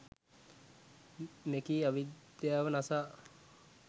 මෙකී අවිද්‍යාව නසා